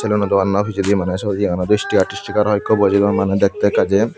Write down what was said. doganno pichedi maneh syot iyenow distikar istikar hoiekko bojeydon maney dektey ekka jei.